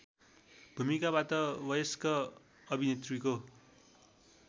भूमिकाबाट वयस्क अभिनेत्रीको